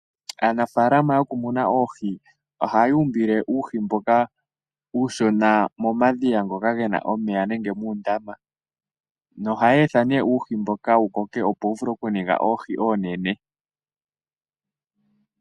Aanafaalama yo ku muna oohi ohaya umbile uuhi mboka uushona momadhiya ngoka gena omeya nenge muundama, noha ya etha ne uuho mboka wu koke opo wu vule okuninga oohi oonene.